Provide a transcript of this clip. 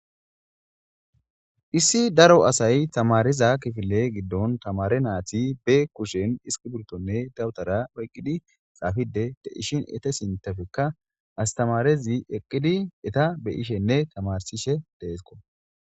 issi daro asay tamariza kifile giddon tamare nayti be kushen iskiburtonne dawutara oyqqidi xaafidi de'ishin ete sintafekka astamarezi eqqidi eta beyishenne tamarsishe deesko.